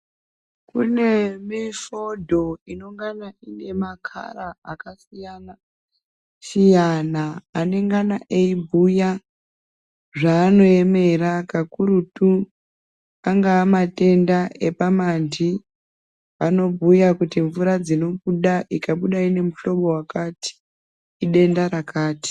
Kune mifodho inongana ine makhara akasiyana -siyana anengana eibhuya zvaanoemera kakurutu angaa matenda epamanti anobhuya kuti mvura dzinobuda ikabuda ine muhlobo wakati idenda rakati.